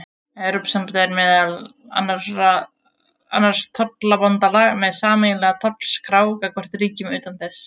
Evrópusambandið er meðal annars tollabandalag með sameiginlega tollskrá gagnvart ríkjum utan þess.